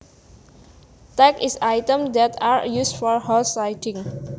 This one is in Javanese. Tack is items that are used for horse riding